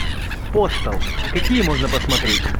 постал какие можно посмотреть